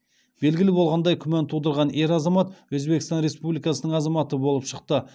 белгілі болғандай күмән тудырған ер азамат өзбекстан республикасының азаматы болып шықты